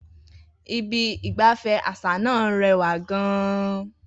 Ibi ìgbafẹ́ àṣà náà rẹwà gan-an.